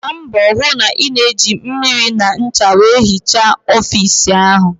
Gbaa mbọ hụ na ị na-eji mmiri na ncha wee hichaa ọfiisi ahụ!